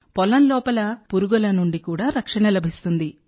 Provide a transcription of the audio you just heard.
పొలం లోపల పురుగుల నుండి కూడా రక్షణ లభిస్తుంది